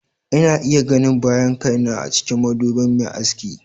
Ina iya ganin bayan kaina a cikin madubin mai aski.